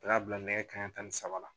U y'a bila nɛgɛ kaɲɛ tan ni saba la